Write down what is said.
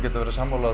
vera sammála